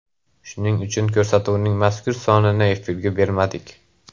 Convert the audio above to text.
Shuning uchun ko‘rsatuvning mazkur sonini efirga bermadik.